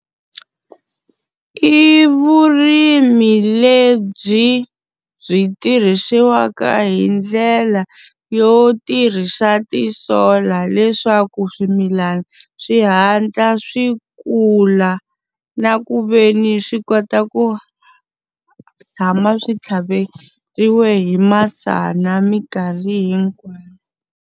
I vurimi lebyi byi tirhisiwaka hi ndlela yo tirhisa ti-solar leswaku swimilana swi hatla swi kula. Na ku ve ni swi kota ku tshama swi tlhaveriwe hi masana minkarhi hinkwayo